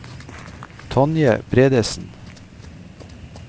Tonje Bredesen